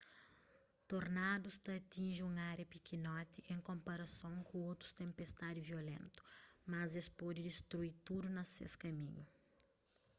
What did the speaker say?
tornadus ta atinji un ária pikinoti en konparason ku otus tenpestadi violentu mas es pode destrui tudu na ses kaminhu